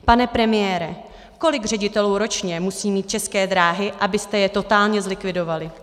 Pane premiére, kolik ředitelů ročně musí mít České dráhy, abyste je totálně zlikvidovali?